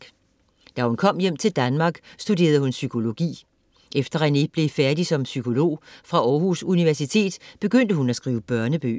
Da hun kom hjem til Danmark studerede hun psykologi. Efter Renée blev færdig som psykolog fra Århus Universitet, begyndte hun at skrive børnebøger.